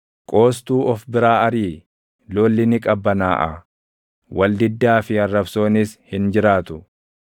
Qoostuu of biraa ariʼi; lolli ni qabbanaaʼaa; wal diddaa fi arrabsoonis hin jiraatu.